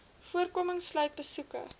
voorkoming sluit besoeke